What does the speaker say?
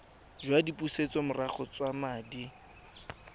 jwa dipusetsomorago tsa madi a